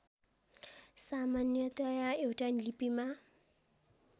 सामान्यतया एउटा लिपिमा